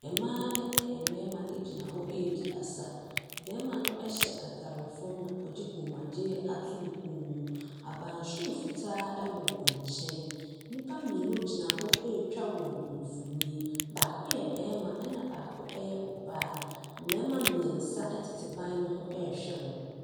Mmaa ne mmarima gyina hɔ redi asa. Barima no hyɛ atare fam na ɔde kɔmmuadeɛ ato ne kɔn mu. Abansoro fitaa wɔ wɔ nkyɛn. Nnipa mmienu gyina hɔ retwa wɔn mfonin. Baako yɛ barima ɛnna baako yɛ ɔbaa. Mmarima mmeɛnsa tete ban no ho rehwɛ wɔn.